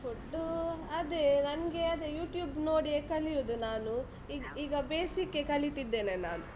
Food ಅದೇ ನಂಗೆ ಅದೇ YouTube ನೋಡಿಯೇ ಕಲಿಯುದು ನಾನು, ಈಗ basic ಕ್ಕೇ ಕಲಿತಿದ್ದೇನೆ ನಾನು.